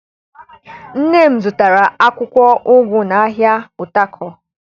Nne m zụtara akwụkwọ ụgụ n'ahịa Utako